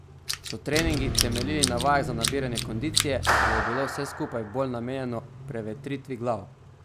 So treningi temeljili na vajah za nabiranje kondicije ali je bilo vse skupaj bolj namenjeno prevetritvi glav?